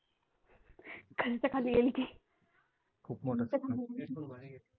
खालच्या खाली येईल ती